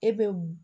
E bɛ